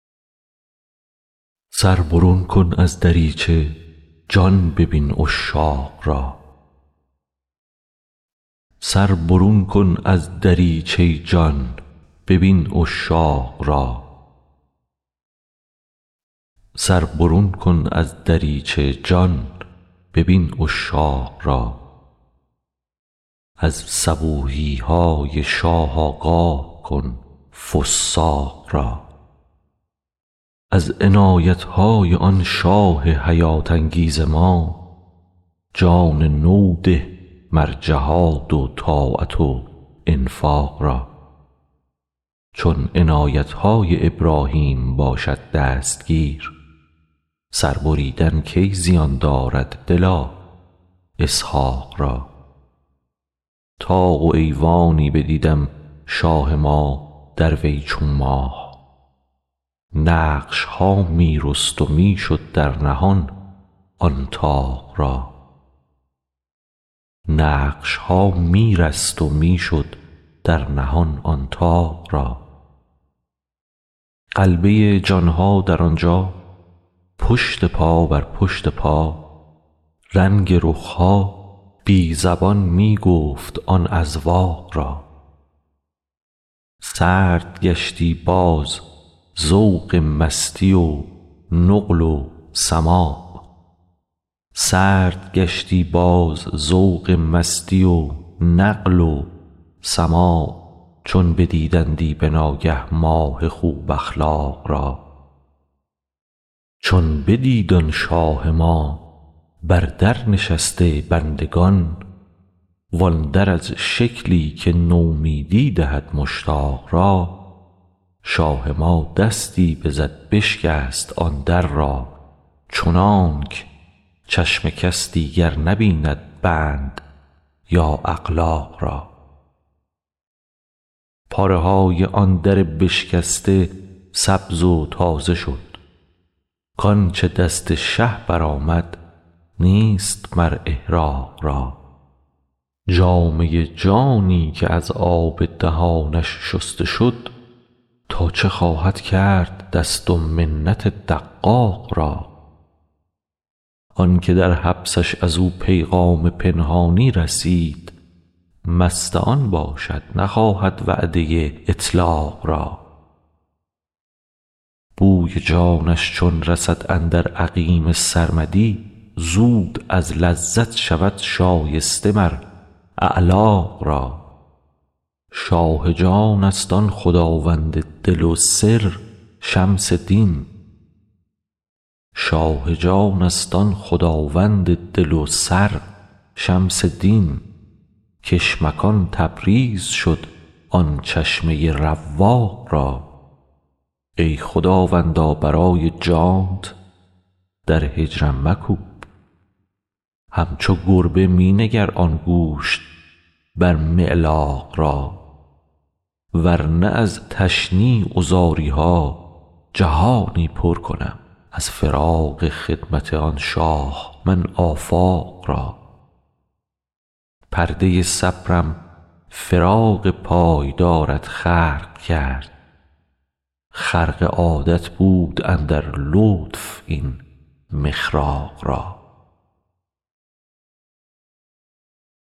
سر برون کن از دریچه جان ببین عشاق را از صبوحی های شاه آگاه کن فساق را از عنایت های آن شاه حیات انگیز را جان نو ده مر جهاد و طاعت و انفاق ما چون عنایت های ابراهیم باشد دستگیر سر بریدن کی زیان دارد دلا اسحاق را طاق و ایوانی بدیدم شاه ما در وی چو ماه نقش ها می رست و می شد در نهان آن طاق را غلبه جان ها در آن جا پشت پا بر پشت پا رنگ رخ ها بی زبان می گفت آن اذواق را سرد گشتی باز ذوق مستی و نقل و سماع چون بدیدندی به ناگه ماه خوب اخلاق را چون بدید آن شاه ما بر در نشسته بندگان وان در از شکلی که نومیدی دهد مشتاق را شاه ما دستی بزد بشکست آن در را چنانک چشم کس دیگر نبیند بند یا اغلاق را پاره های آن در بشکسته سبز و تازه شد کنچ دست شه برآمد نیست مر احراق را جامه جانی که از آب دهانش شسته شد تا چه خواهد کرد دست و منت دقاق را آن که در حبسش از او پیغام پنهانی رسید مست آن باشد نخواهد وعده اطلاق را بوی جانش چون رسد اندر عقیم سرمدی زود از لذت شود شایسته مر اعلاق را شاه جانست آن خداوند دل و سر شمس دین کش مکان تبریز شد آن چشمه رواق را ای خداوندا برای جانت در هجرم مکوب همچو گربه می نگر آن گوشت بر معلاق را ور نه از تشنیع و زاری ها جهانی پر کنم از فراق خدمت آن شاه من آفاق را پرده صبرم فراق پای دارت خرق کرد خرق عادت بود اندر لطف این مخراق را